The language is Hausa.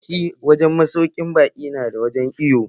Yawancin masaukin baƙi nada wurin iwo.